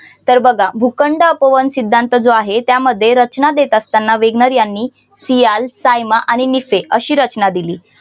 तर बघा भूखंड अपवन सिद्धांत जो आहे त्यामध्ये रचना देत असताना वॅगनार यांनी सियाल सायमा आणि निके अशी अशी रचना दिली.